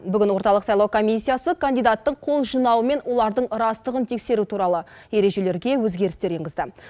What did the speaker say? бүгін орталық сайлау комиссиясы кандидаттың қол жинауы мен олардың растығын тексеру туралы ережелерге өзгерістер енгізді